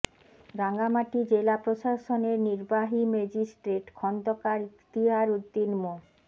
রাঙামাটি জেলা প্রশাসনের নির্বাহী ম্যাজিস্ট্রেট খন্দকার ইখতিয়ার উদ্দিন মো